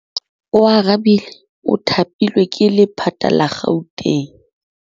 Oarabile o thapilwe ke lephata la Gauteng.